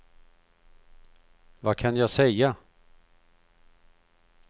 vad kan jag säga